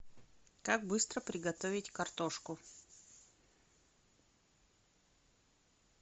как быстро приготовить картошку